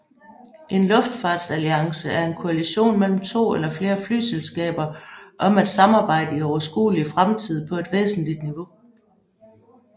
En luftfartsalliance er en koalition mellem to eller flere flyselskaber om at samarbejde i overskuelig fremtid på et væsentligt niveau